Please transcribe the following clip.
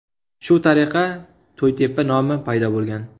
Shu tariqa To‘ytepa nomi paydo bo‘lgan.